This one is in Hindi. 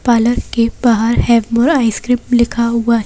पार्लर के बाहर है और आइसक्रीम लिखा हुआ --